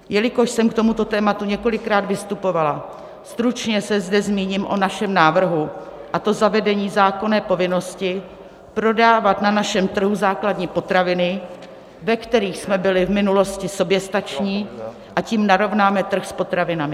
Jelikož jsem k tomuto tématu několikrát vystupovala, stručně se zde zmíním o našem návrhu, a to zavedení zákonné povinnosti prodávat na našem trhu základní potraviny, ve kterých jsme byli v minulosti soběstační, a tím narovnáme trh s potravinami.